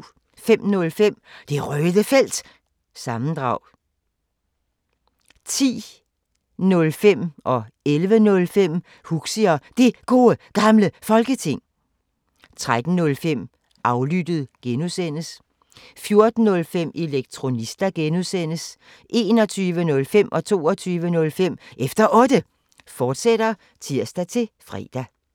05:05: Det Røde Felt – sammendrag 10:05: Huxi og Det Gode Gamle Folketing 11:05: Huxi og Det Gode Gamle Folketing, fortsat 13:05: Aflyttet G) 14:05: Elektronista (G) 21:05: Efter Otte, fortsat (tir-fre) 22:05: Efter Otte, fortsat (tir-fre)